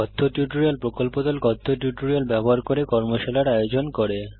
কথ্য টিউটোরিয়াল প্রকল্প দল কথ্য টিউটোরিয়াল ব্যবহার করে কর্মশালার আয়োজন করে